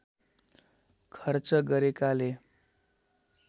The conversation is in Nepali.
खर्च गरेकाले